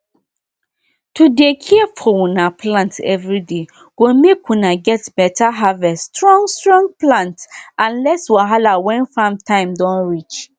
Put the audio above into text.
to dey care for una plant everyday go make una get beta harveststrong strong plant and less wahala when farm time don reach